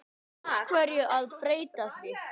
Af hverju að breyta?